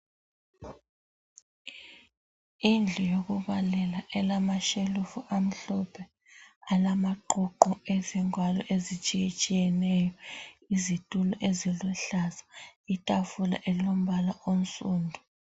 Indlu yokubalela elama shelufu amhlophe alamaququ ezingwalo ezitshiyetshiyeneyo. Izitulo eziluhlaza, itafula elombala onsundu.